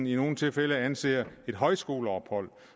i nogle tilfælde anser et højskoleophold